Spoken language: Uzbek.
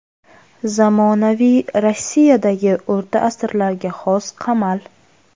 Zamonaviy Rossiyadagi o‘rta asrlarga xos qamal.